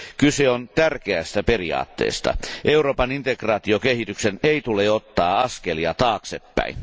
Kyse on tärkeästä periaatteesta Euroopan integraatiokehityksen ei tule ottaa askelia taaksepäin.